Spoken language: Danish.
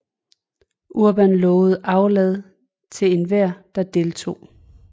Urban lovede aflad til enhver der deltog